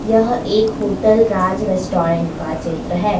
यह एक hotel Raj restaurant का चित्र है।